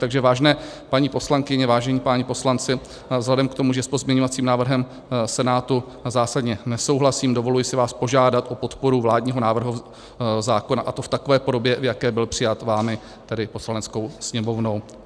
Takže vážené paní poslankyně, vážení páni poslanci, vzhledem k tomu, že s pozměňovacím návrhem Senátu zásadně nesouhlasím, dovoluji si vás požádat o podporu vládního návrhu zákona, a to v takové podobě, v jaké byl přijat vámi, tedy Poslaneckou sněmovnou.